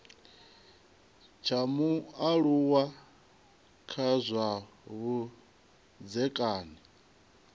tsha mualuwa kha zwa vhudzekani